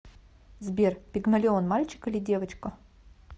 сбер пигмалион мальчик или девочка